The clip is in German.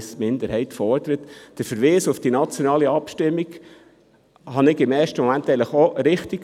Eigentlich fand ich den Verweis auf die nationale Abstimmung im ersten Moment auch richtig.